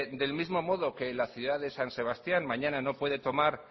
del mismo modo que la ciudad de san sebastián mañana no puede tomar